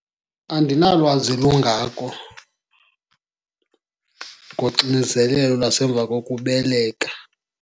Andinalwazi lungako ngoxinezelelo lwasemva kokubeleka.